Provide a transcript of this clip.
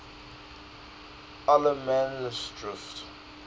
allemansdrift